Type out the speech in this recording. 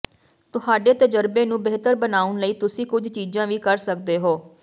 ਤੁਹਾਡੇ ਤਜਰਬੇ ਨੂੰ ਬਿਹਤਰ ਬਣਾਉਣ ਲਈ ਤੁਸੀਂ ਕੁਝ ਚੀਜ਼ਾਂ ਵੀ ਕਰ ਸਕਦੇ ਹੋ